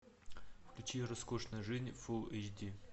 включи роскошная жизнь фул эйч ди